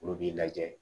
Olu b'i lajɛ